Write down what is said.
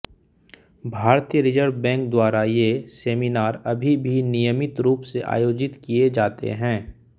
भारतीय reserve bank द्वारा ये सेमिनार अभी भी नियमित रूप से आयोजित किये जाते हैं